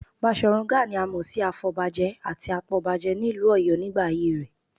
Baṣọ̀run Gáà ni a mọ̀ sí afọ̀bajẹ àti apọbajẹ nílùú Ọ̀yọ́ nígbà ayé rẹ